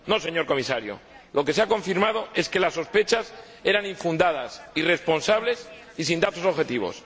No, señor Comisario lo que se ha confirmado es que las sospechas eran infundadas, irresponsables y sin datos objetivos